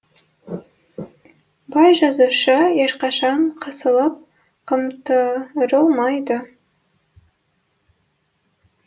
бай жазушы ешқашан қысылып қымтырылмайды